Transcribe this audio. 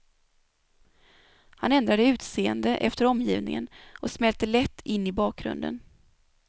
Han ändrade utseende efter omgivningen och smälte lätt in i bakgrunden.